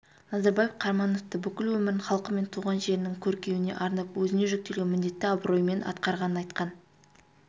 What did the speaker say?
назарбаев қарамановты бүкіл өмірін халқы мен туған жерінің көркеюіне арнап өзіне жүктелген міндетті абыроймен атқарғанын айтқан